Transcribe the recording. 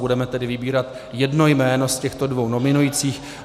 Budeme tedy vybírat jedno jméno z těchto dvou nominovaných.